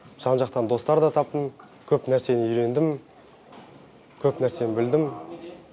жан жақтан достарда таптым көп нәрсені үйрендім көп нәрсені білдім